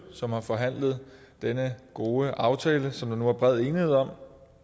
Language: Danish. som har forhandlet denne gode aftale som der nu er bred enighed om